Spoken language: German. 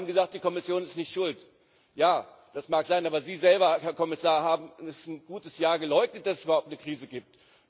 Sie haben gesagt, die Kommission ist nicht schuld. Ja, das mag sein, aber Sie selber, Herr Kommissar, haben ein gutes Jahr geleugnet, dass es überhaupt eine Krise gibt.